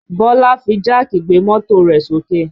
Bọlá fi jáàkì gbé mọ́tò rẹ̀ sókè